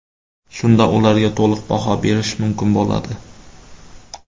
Shunda ularga to‘liq baho berish mumkin bo‘ladi.